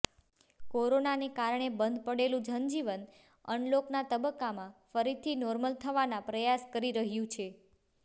કોરોનાને કારણે બંધ પડેલું જનજીવન અનલોકનાં તબક્કામાં ફરીથી નોર્મલ થવાના પ્રયાસ કરી રહ્યું છે